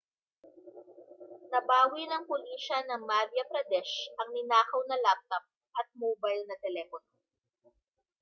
nabawi ng pulisiya ng madhya pradesh ang ninakaw na laptop at mobile na telepono